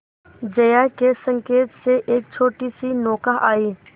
जया के संकेत से एक छोटीसी नौका आई